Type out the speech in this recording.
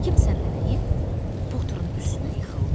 Həkim səndələyib Poturun üstünə yıxıldı.